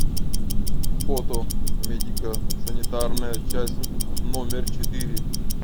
фото медико санитарная часть номер четыре